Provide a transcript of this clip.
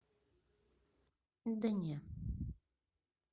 да не